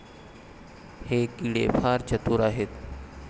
हे किडे फार चतुर आहेत.